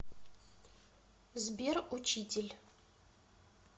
сбер учитель